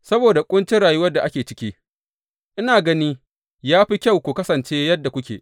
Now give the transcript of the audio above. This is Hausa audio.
Saboda ƙuncin rayuwar da ake ciki, ina gani ya fi kyau ku kasance yadda kuke.